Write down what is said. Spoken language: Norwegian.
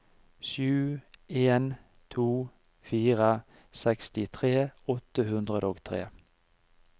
sju en to fire sekstitre åtte hundre og tre